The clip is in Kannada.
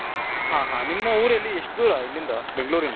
ಹಾ ಹಾ ನಿಮ್ಮ ಊರು ಇಲ್ಲಿ ಎಷ್ಟು ದೂರ ಇಲ್ಲಿಂದ ಬೆಂಗಳೂರಿಂದ.